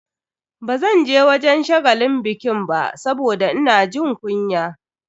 Bazanje wajen shagalin bikin ba saboda ina jin kunya.